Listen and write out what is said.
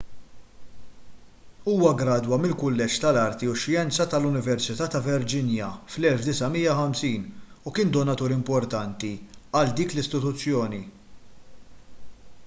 huwa ggradwa mill-kulleġġ tal-arti u x-xjenza tal-università ta' virginia fl-1950 u kien donatur importanti għal dik l-istituzzjoni